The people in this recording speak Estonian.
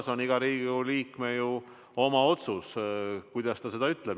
See on iga Riigikogu liikme oma otsus, kuidas ta seda ütleb.